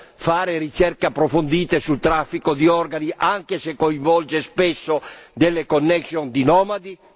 Vogliamo fare ricerche approfondite sul traffico di organi anche se coinvolge spesso delle connection di nomadi?